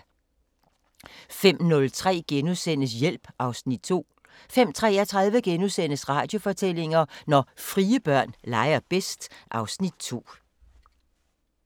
05:03: Hjælp (Afs. 2)* 05:33: Radiofortællinger: Når frie børn leger bedst (Afs. 2)*